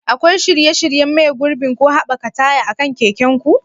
Akwai shirye-shiryen maye gurbin ko haɓaka taya akan keken ku?